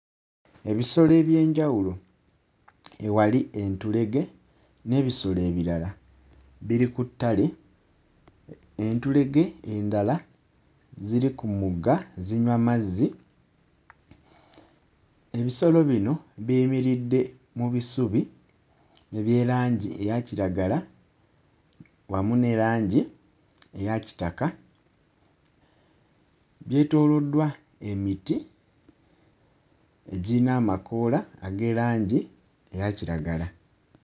Ebisolo eby'enjawulo ewali entulege n'ebisolo ebirala, biri ku ttale. Entulege endala ziri ku mugga zinywa mazzi, ebisolo bino biyimiridde mu bisubi ebya langi eya kiragala wamu ne langi eya kitaka, byetoolddwa emiti egirina amakoola ag'erangi eya kiragala.